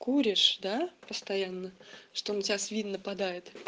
куришь да постоянно что на тебя свин нападает